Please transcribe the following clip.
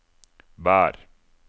vær